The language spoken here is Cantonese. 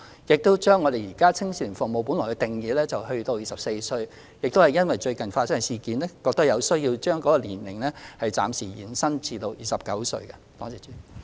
因應最近發生的事件，我們亦認為有需要修改青少年服務對象的年齡上限，由原來的24歲暫時延伸至29歲。